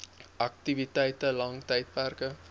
aktiwiteite lang tydperke